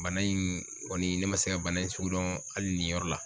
Bana in kɔni ,ne ma se ka bana in sugu dɔn hali nin yɔrɔ la.